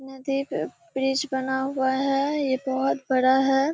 नदी पे ब्रिज बना हुआ है ये बहुत बड़ा है।